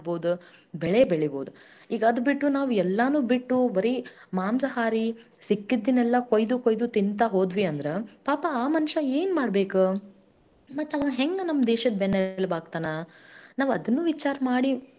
ಮಾಡಬೇಕಲ್ಲ ಎಲ್ಲಾನುನು ಅದಕ್ಕೋಸ್ಕರ ಮುಖ್ಯವಾಗಿ ಅದು ಅದು ಬಿಟ್ಟು ಇನ್ನೊಂದ್ ಏನಂತಂದ್ರೆ ಈಗ ನಾವು ಸಸ್ಯಾಹಾರಿ ಆಗಿರೋದರಿಂದ ನಮ್ health ಬಾಳ ಚೊಲೋ ಅದ ರೀ, ನಮ್ಮ ಮನಿಯೊಳಗೆಲ್ಲಾ ನೂರು ನೂರಾ ಹದನೈದ ವಯಸ್ಸಿನ ಮುದಕ್ಯಾರ ಇದಾರ್ ರೀ.